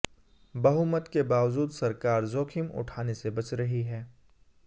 बहुमत के बावजूद सरकार जोखिम उठाने से बच रही है